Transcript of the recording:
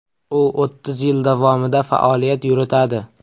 U o‘ttiz yil davomida faoliyat yuritadi.